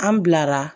An bilara